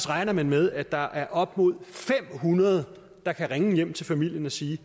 regner man med at der er op imod fem hundrede der kan ringe hjem til familien og sige